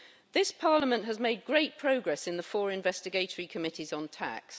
This Parliament has made great progress in the four investigatory committees on tax.